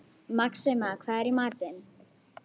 Maxima, hvað er í matinn?